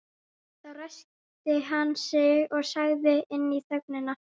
Þá ræskti hann sig og sagði inn í þögnina